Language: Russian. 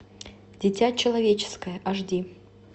дитя человеческое аш ди